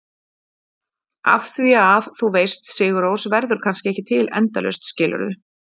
Af því að, þú veist, Sigur Rós verður kannski ekki til endalaust, skilurðu?